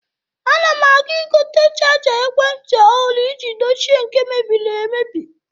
Ana m aga igote chaja ekwenti ọhụrụ iji dochie nke mebiri emebi.